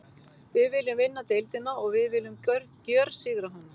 Við viljum vinna deildina og við viljum gjörsigra hana.